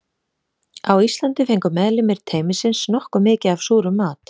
Á Íslandi fengu meðlimir teymisins nokkuð mikið af súrum mat.